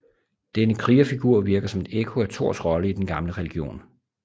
Denne krigerfigur virker som et ekko af Thors rolle i den gamle religion